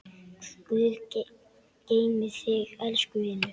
Guð geymi þig, elsku vinur.